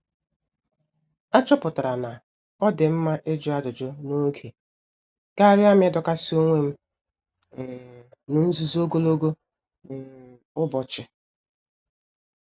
A chọpụtara na-odi mma ịjụ ajụjụ n'oge karịa m idokasi onwem um n'nzuzo ogologo um ụbọchị.